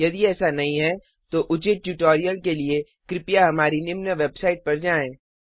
यदि ऐसा नहीं है तो उचित ट्यूटोरियल के लिए कृपया हमारी निम्न वेबसाइट पर जाएँ